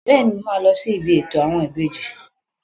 Bẹ́ẹ̀ni, mo máa lọ sí ibi ètò àwọn ìbejì.